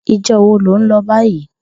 Ijò wó ló n lò bàyí?